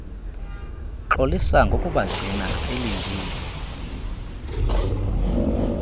xolisa ngokubagcina belindile